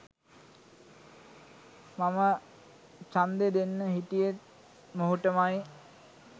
මම චන්දෙ දෙන්න හිටියෙත් මොහුටමයි